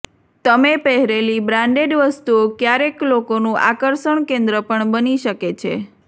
તમે પહેરેલી બ્રાન્ડેડ વસ્તુઓ ક્યારેક લોકોનું આકર્ષણ કેન્દ્ર પણ બની શકે છે